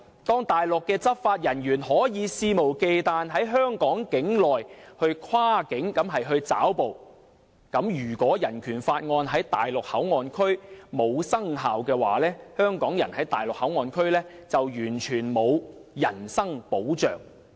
當內地執法人員可以肆無忌憚地在香港境內跨境抓捕，如果《人權法案條例》在大陸口岸區無效，香港人在大陸口岸區便完全沒有人身保障。